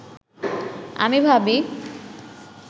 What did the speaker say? আমি ভাবি